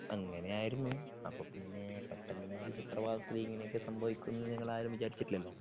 അങ്ങനെയായിരുന്നു അപ്പോപ്പിന്നെ പെട്ടന്നൊരു സുപ്രഭാതത്തിൽ ഇങ്ങനെയൊക്കെ സംഭവിക്കുമെന്ന് ഞങ്ങൾ ആരും വിചാരിച്ചിട്ടില്ലല്ലോ.